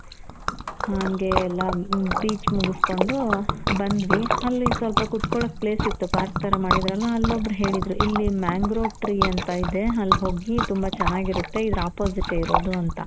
ಹಂಗೆ ಎಲ್ಲಾ beach ಮುಗುಸ್ಕೊಂಡು ಬಂದ್ವಿ. ಅಲ್ಲಿ ಸ್ವಲ್ಪ ಕುತ್ಕೊಳೋಕೆ place ಇತ್ತು. park ತರ ಮಾಡಿದ್ರಲ ಅಲ್ಲಿ ಒಬ್ರು ಹೇಳಿದ್ರು ಇಲ್ಲಿ mangro tree ಅಂತ ಇದೆ ಅಲ್ಲಿ ಹೋಗಿ ತುಂಬ ಚೆನಾಗಿರುತ್ತೆ. ಇದ್ರ opposite ಇರೋದು ಅಂತ.